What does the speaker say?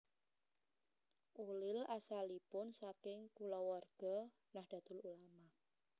Ulil asalipun saking kulawarga Nahdlatul Ulama